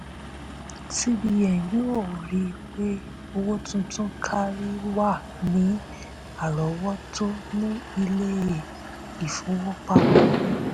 cbn yóò rí i pé owó tuntun kárí wà ní àrọ́wọ́tó ní ilé-ìfowópamọ́.